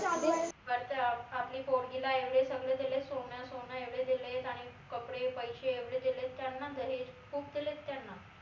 आपली पोरगीला एवढे सगळे देले सोन सोन एवढं देले आणि कपडे, पैशे एवढे देलेत त्यांना दहेज खूप देलेत त्यांना